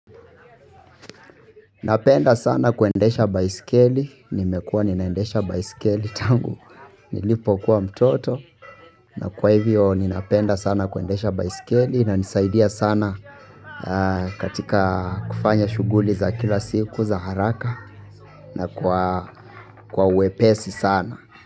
Napenda sana kuendesha baiskeli, nimekuwa ninaendesha baiskeli tangu nilipokuwa mtoto na kwa hivyo ninapenda sana kuendesha baiskeli inanisaidia sana katika kufanya shughuli za kila siku za haraka na kwa wepesi sana.